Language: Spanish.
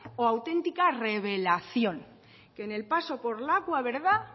o auténtica revelación que en el paso por lakua